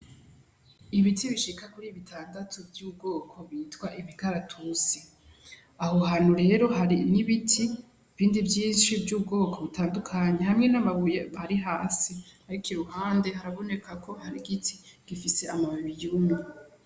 Ibiti bishika kuri bitandatu vy'ubwoko bitwa imikaratusi, aho hantu rero hari n'ibiti bindi vyinshi vy'ubwoko butandukanye hamwe n'amabuye ari hasi, ariko iruhande haraboneka ko hari igiti gifise amababi yumye.